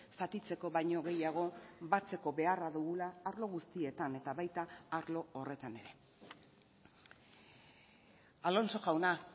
zatitzeko baino gehiago batzeko beharra dugula arlo guztietan eta baita arlo horretan ere alonso jauna